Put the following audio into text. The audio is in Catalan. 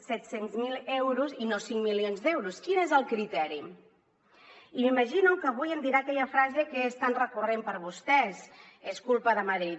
zero euros i no cinc milions d’euros quin és el criteri i m’imagino que avui em dirà aquella frase que és tan recurrent per a vostès és culpa de madrid